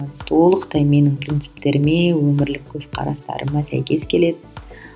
толықтай менің принциптеріме өмірлік көзқарастарыма сәйкес келеді